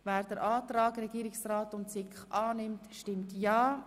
Wer den Antrag Regierungsrat und SiK annimmt, stimmt ja,